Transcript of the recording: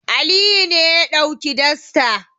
Aliyu ne ya ɗauki dastar.